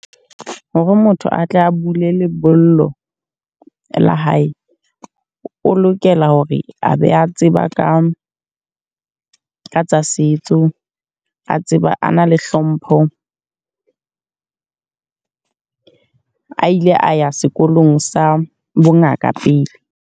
Hore motho a tle a bule lebollo, la hae. O lokela hore a be a tseba ka tsa setso. A tseba, a na le hlompho. A ile a ya sekolong sa bo ngaka pele.